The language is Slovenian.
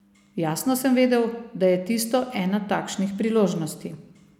Jasno sem vedel, da je tisto ena takšnih priložnosti.